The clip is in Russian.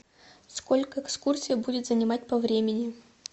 сколько экскурсия будет занимать по времени